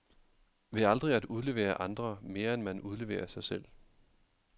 Ved aldrig at udlevere andre, mere end man udleverer sig selv.